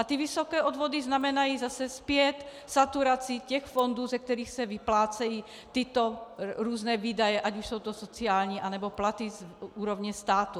A ty vysoké odvody znamenají zase zpět saturaci těch fondů, ze kterých se vyplácejí tyto různé výdaje, ať už jsou to sociální, nebo platy z úrovně státu.